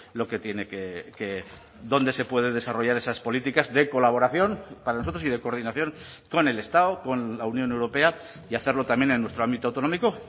lo que tiene que dónde se puede desarrollar esas políticas de colaboración para nosotros y de coordinación con el estado con la unión europea y hacerlo también en nuestro ámbito autonómico